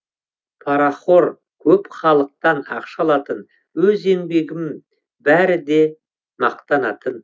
парахор көп халықтан ақша алатын өз еңбегім бәрі де мақтанатын